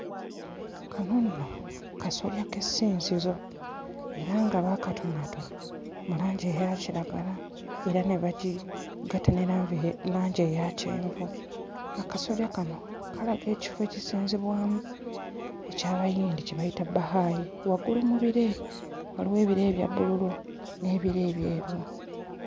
Kano nno kasolya k'essinzizo era nga baakatonaatona mu langi eya kiragala era ne bagigatta ne lanve langi eya kyenvu akasolya kano kalaga ekifo ekisinzibwamu eky'Abayindi kye bayita Bahai waggulu mu bire waliwo ebire ebya bbululu n'ebire ebyeru.